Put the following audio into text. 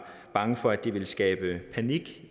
bange for at det ville skabe panik